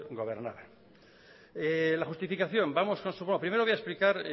gobernaban la justificación vamos con la justificación bueno primero voy a explicar